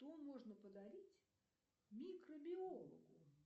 что можно подарить микробиологу